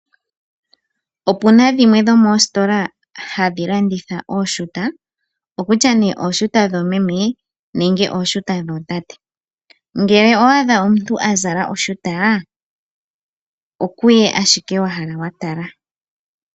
Opuna dhimwe dhomoositola hadhi landitha ooshuta, okutya ne ooshuta dhoomeme nenge ooshuta dhootate, ngele owa adha omuntu azala oshuta, okuye ashike watala.